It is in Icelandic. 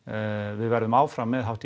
við verðum áfram með hátt í